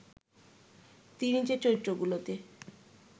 তিনি যে চরিত্রগুলোতে